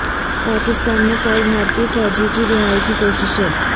پاکستان میں قید بھارتی فوجی کی رہائی کی کوششیں